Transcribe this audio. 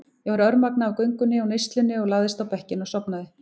Ég var örmagna af göngunni og neyslunni og lagðist á bekkinn og sofnaði.